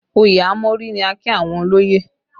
Òye a mọ́rí ni a kí àwọn olóyè